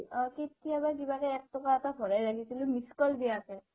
কেতিয়াবা কিবাকে এক টকা এটা ভৰাই ৰাখিছিলো missed call দিয়াকে